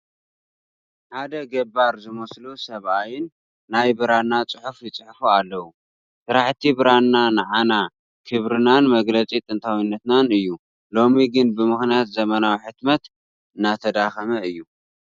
ሓደ ገባር ዝመስሉ ሰብኣይ ናይ ብራና ፅሑፍ ይፅሕፉ ኣለዉ፡፡ ስራሕቲ ብራና ንዓና ክብርናን መግለፂ ጥንታዊትናን እዩ፡፡ ሎሚ ግን ብምኽንያት ዘመናዊ ሕትመት እንዳተዳኸመ እዩ፡፡